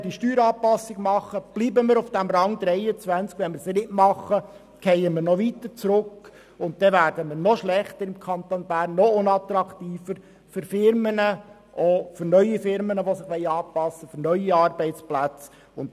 unterlassen wir sie, fallen wir noch weiter zurück und werden im Kanton Bern noch schlechter und unattraktiver für Firmen, insbesondere für neue Firmen mit neuen Arbeitsplätzen.